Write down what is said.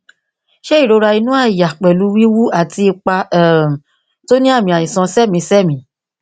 ṣé ìrora inú àyà pẹlú wíwú àti ipa um tó ní àmì àìsàn sẹmìísẹmìí